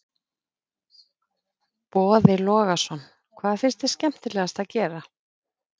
Boði Logason: Hvað finnst þér skemmtilegast að gera?